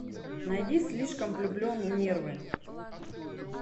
найди слишком влюблен нервы